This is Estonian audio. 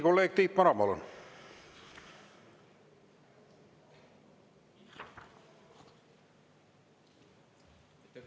Kolleeg Tiit Maran, palun!